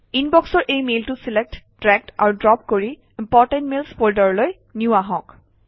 ইনবক্সৰ এই মেইলটো select drag আৰু ড্ৰপ কৰি ইম্পৰ্টেণ্ট মেইলছ ফল্ডাৰলৈ নিওঁ আহক